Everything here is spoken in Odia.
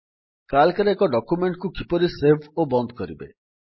ସିଏଏଲସି ରେ ଏକ ଡକ୍ୟୁମେଣ୍ଟ୍ କୁ କିପରି ସେଭ୍ ଓ ବନ୍ଦ କରିବେ